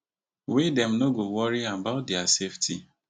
wey dem no go worry about dia safety